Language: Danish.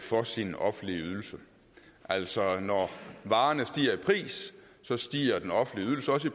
for sin offentlige ydelse altså når varerne stiger i pris stiger den offentlige ydelse også